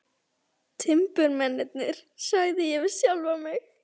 Timburmennirnir, sagði ég við sjálfan mig.